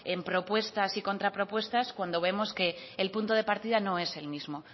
en propuestas y contrapropuestas cuando vemos que el punto de partida no es el mismo